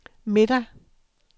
middag